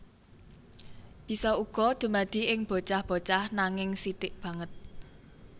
Bisa uga dumadi ing bocah bocah nanging sithik banget